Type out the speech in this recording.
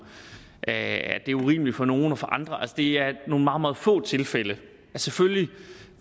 at det er urimeligt for nogen og for andre at det er nogle meget meget få tilfælde selvfølgelig